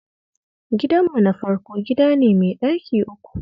Gidanmu na farko gida ne mai ɗaki uku